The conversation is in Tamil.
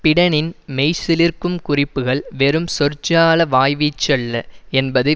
பிடனின் மெய்சிலிர்க்கும் குறிப்புகள் வெறும் சொற்ஜால வாய்வீச்சு அல்ல என்பது